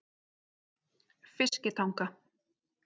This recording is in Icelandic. Fiskitanga